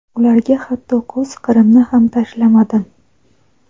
ularga hatto ko‘z qirimni ham tashlamadim.